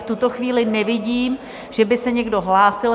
V tuto chvíli nevidím, že by se někdo hlásil.